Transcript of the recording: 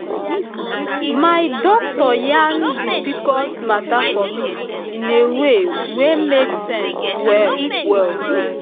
my doctor yan the pcos matter for me in a way wey make sense well well